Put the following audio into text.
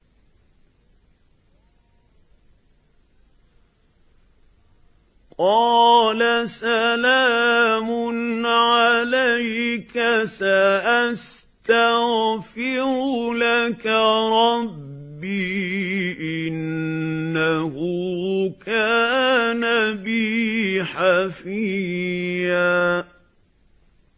قَالَ سَلَامٌ عَلَيْكَ ۖ سَأَسْتَغْفِرُ لَكَ رَبِّي ۖ إِنَّهُ كَانَ بِي حَفِيًّا